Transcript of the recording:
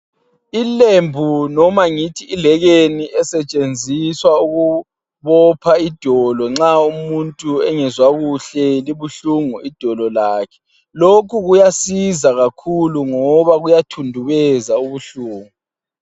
Ilembu noma ngithi ilekeni esetshenziswa ukubopha idolo nxa umuntu engezwa kuhle libuhlungu idolo lakhe. Lokhu kuyasiza kakhulu ngoba kuyathundubeza ubuhlungu.